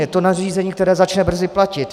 Je to nařízení, které začne brzo platit.